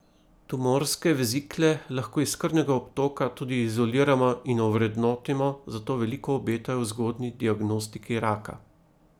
Tumorske vezikle lahko iz krvnega obtoka tudi izoliramo in ovrednotimo, zato veliko obetajo v zgodnji diagnostiki raka.